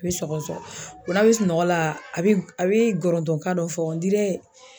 I bɛ sɔgɔsɔgɔ, n'a bɛ sunɔgɔ la a bɛ a bɛ gɔrɔntɔn kan dɔ fɔ